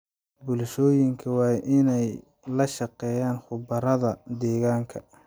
Bulshooyinka waa in ay la shaqeeyaan khubarada deegaanka.